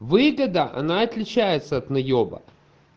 выгода она отличается от наеба